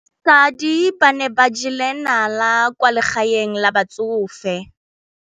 Basadi ba ne ba jela nala kwaa legaeng la batsofe.